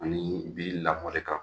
An bi lakɔli kan